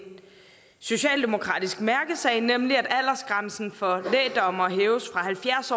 socialdemokratisk mærkesag nemlig at aldersgrænsen for lægdommere hæves fra halvfjerds